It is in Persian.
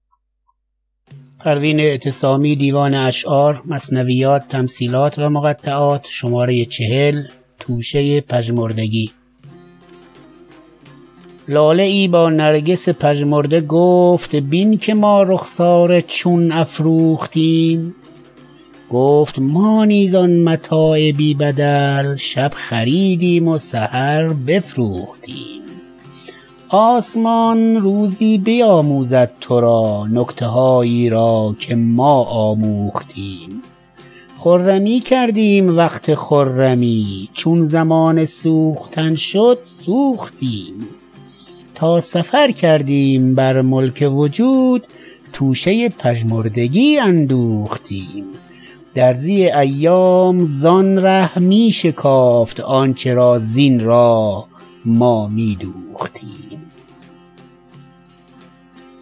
لاله ای با نرگس پژمرده گفت بین که ما رخساره چون افروختیم گفت ما نیز آن متاع بی بدل شب خریدیم و سحر بفروختیم آسمان روزی بیاموزد ترا نکته هایی را که ما آموختیم خرمی کردیم وقت خرمی چون زمان سوختن شد سوختیم تا سفر کردیم بر ملک وجود توشه پژمردگی اندوختیم درزی ایام زان ره میشکافت آنچه را زین راه ما میدوختیم